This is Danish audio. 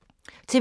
TV 2